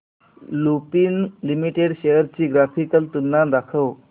Lupin limited shares ची graphical तुलना दाखव